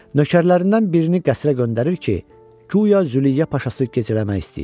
Nökərlərindən birini qəsrə göndərir ki, guya Züleyya paşası gecələmək istəyir.